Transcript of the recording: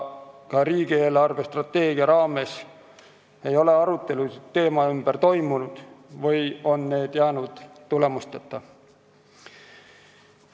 Ka riigi eelarvestrateegia raames ei ole sellekohaseid arutelusid toimunud või on need jäänud tulemusteta.